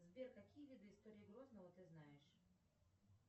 сбер какие виды истории грозного ты знаешь